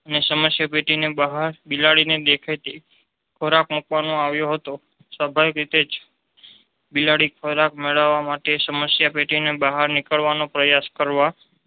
ને સમસ્યા પેટીની બહાર બિલાડીને દેખાય તે રીતે ખોરાક મુકવામાં આવ્યો હતો. સ્વભાવિક રીતે જ બિલાડી ખોરાક મેળવવા માટે સમસ્યા પેટીની બહાર નીકળવાનો પ્રયાસ કરવા